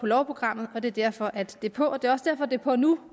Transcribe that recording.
lovprogrammet og det er derfor at det er på det er også derfor det er på nu